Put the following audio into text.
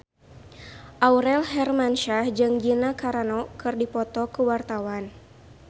Aurel Hermansyah jeung Gina Carano keur dipoto ku wartawan